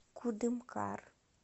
кудымкар